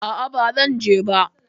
A'a, ba zan je ba.